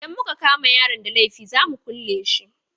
Idan muka kama yaron da laifi za mu kule shi.